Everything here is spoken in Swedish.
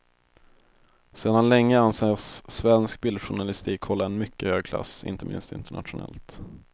Sedan länge anses svensk bildjournalistik hålla en mycket hög klass, inte minst internationellt.